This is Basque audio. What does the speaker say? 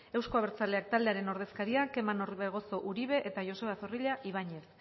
euzko abertzaleak taldearen ordezkariak kerman orbegozo uribe eta joseba zorrilla ibañez